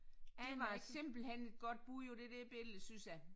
Det var simpelthen et godt bud på det der billede synes jeg